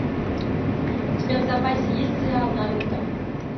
у тебя в запасе есть сериал наруто